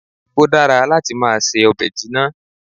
Ó dára láti máa se ọbẹ̀ jinna